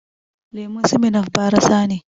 Lemun Smirnoff barasa ne